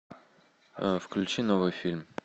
включи новый фильм